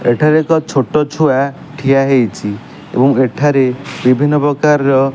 ଏଠାରେ ଏକ ଛୋଟ ଛୁଆ ଠିଆ ହେଇଚି ଏବଂ ଏଠାରେ ବିଭିନ୍ନ ପ୍ରକାରର --